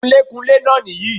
Kunlékunlé náà nì yí